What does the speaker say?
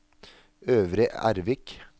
Øvre Ervik